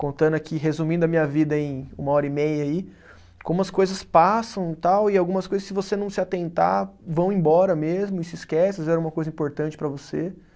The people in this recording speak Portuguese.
Contando aqui, resumindo a minha vida em uma hora e meia aí, como as coisas passam e tal, e algumas coisas, se você não se atentar, vão embora mesmo e se esquece, às vezes era uma coisa importante para você